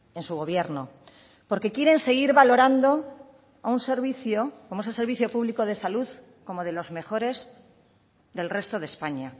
en su gobierno porque quieren seguir valorando a un servicio como es el servicio público de salud como de los mejores del resto de españa